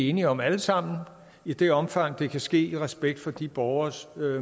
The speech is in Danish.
enige om altså i det omfang det kan ske i respekt for de borgeres